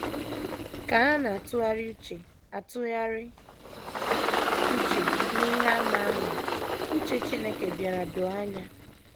Ka ha na - atụgharị uche - atụgharị uche n’ihe àmà ahụ, uche Chineke bịara doo anya.